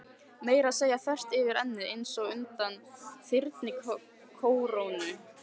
Meira að segja þvert yfir ennið, einsog undan þyrnikórónu.